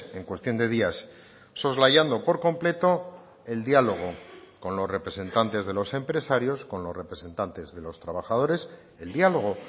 en cuestión de días soslayando por completo el diálogo con los representantes de los empresarios con los representantes de los trabajadores el diálogo